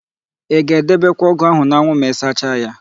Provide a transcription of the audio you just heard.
Ị ga-edebekwa ọ́gụ̀ áhụ̀ n'anwụ ma ịsacha ya?